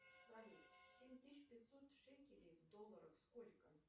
салют семь тысяч пятьсот шекелей в долларах сколько